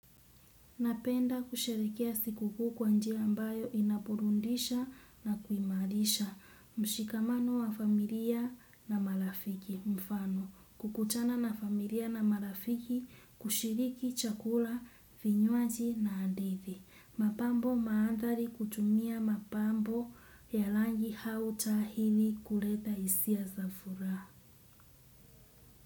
Napenda kusherehekea sikukuu kwa njia ambayo inaburudisha na kuimarisha mshikamano wa familia na marafiki mfano kukutana na familia na marafiki kushiriki chakula, vinywaji na hadithi. Mapambo maandhari kutumia mapambo ya rangi au taa ili kuleta hisia za furaha.